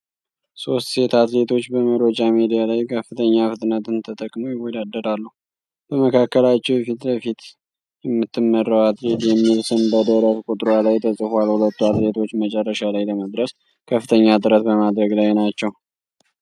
ሶስት ሴት አትሌቶች በመሮጫ ሜዳ ላይ ከፍተኛ ፍጥነትን ተጠቅመው ይወዳደራሉ። በመካከላቸው የፊት ለፊት የምትመራው አትሌት የሚል ስም በደረት ቁጥሯ ላይ ተጽፏል። ሁሉም አትሌቶች መጨረሻ ላይ ለመድረስ ከፍተኛ ጥረት በማድረግ ላይ ናቸው።